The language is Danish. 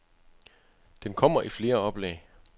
Den kommer i flere oplag.